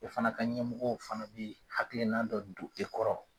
O fana ka ɲɛmɔgɔw fana be yen hakilina dɔ don e kɔrɔ